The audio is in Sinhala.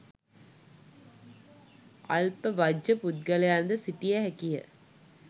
අල්ප වජ්ජ පුද්ගලයන්ද සිටිය හැකියි.